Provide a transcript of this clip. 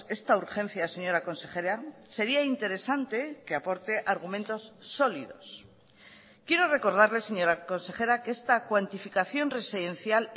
esta urgencia señora consejera sería interesante que aporte argumentos sólidos quiero recordarle señora consejera que esta cuantificación residencial